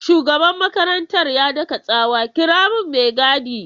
Shugaban makarantar ya daka tsawa 'kira min mai gadi!'